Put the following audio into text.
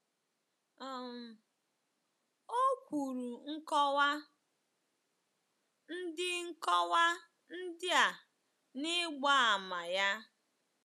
um O kwuru nkọwa ndị nkọwa ndị a n'ịgba àmà ya.